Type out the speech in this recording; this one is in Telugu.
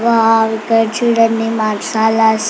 వావ్ ఇక్కడ చుడండి మసాలా స--